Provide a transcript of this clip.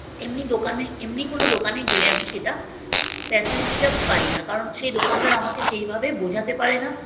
এমনি দোকানে এমনি কোনো দোকানে গেলে আমি সেটা facility টা পাই না কারণ সেই দোকানদার আমাকে সেইভাবে বোঝাতে পারে না